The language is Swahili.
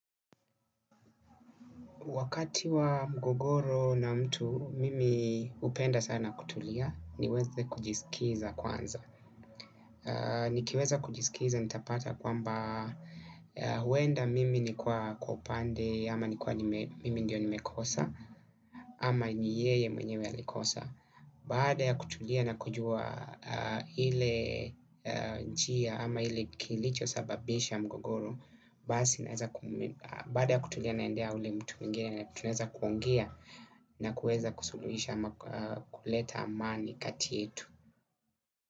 Wakati wa mgogoro na mtu, mimi, hupenda sana kutulia, niweze kujisikiza kwanza. Nikiweza kujisikiza, nitapata kwamba, huwenda mimi nikwa kwa upande, ama nikuwa mimi ndio nimekosa, ama ni yeye mwenyewe alikosa. Baada ya kutulia na kujua hile njia ama ile kilichosababisha mgogoro, baada ya kutulia naendea ule mtu mwingine na tunaeza kuongea. Na kuweza kusuluisha ama kuleta amani kati yetu.